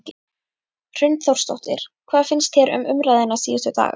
Hrund Þórsdóttir: Hvað finnst þér um umræðuna síðustu daga?